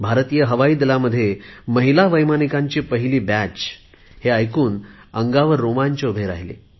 भारतीय हवाईदलामध्ये महिला वैमानिकांची पहिली तुकडी हे ऐकून अंगावर रोमांच उभे राहिले